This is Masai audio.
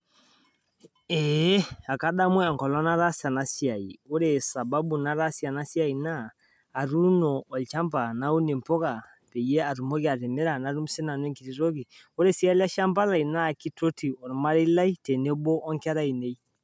Kadamu naa ore sababu nataasie ena siai naa atuuno olchamba naun imbuka paatumoki atimira paatum siinanun enkoti toki ore sii eleshamba naa kitoti olmarei lai tenebo wo ngera ainei